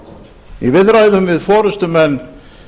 í viðræðum við forustumenn